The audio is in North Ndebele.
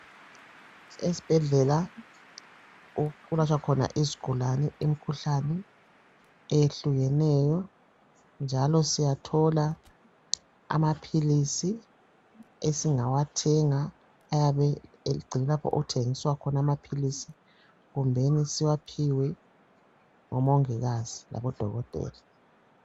Esibhedlela okulatshwa khona izigulane imikhuhlane eyehlukeneyo njalo siyathola amaphilisi esingawathenga ayabe egcinwa lapho okuthengiswa khona amaphilisi kumbeni siwaphiwe ngomongikazi labodokotela.